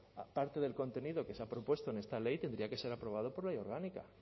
aparte del contenido que se ha propuesto en esta ley tendría que ser aprobado por ley orgánica